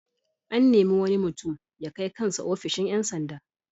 An nemi wani mutum ya kai kan sa ofishin ƴan sanda.